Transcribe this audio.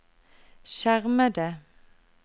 skjermede